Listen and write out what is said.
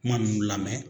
Kuma ninnu lamɛn